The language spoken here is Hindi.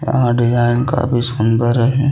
यहाँ डिज़ाइन काफी सुन्दर है।